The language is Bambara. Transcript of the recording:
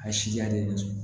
A sijalen